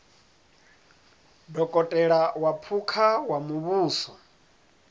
dokotela wa phukha wa muvhuso